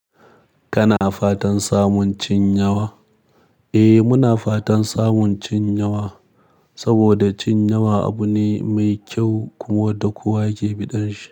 Kana fatan samun cin yawa? Eh muna fatan samun cin yawa, saboda cin yawa abu ne mai kyau kuma da kowa ke biɗan shi.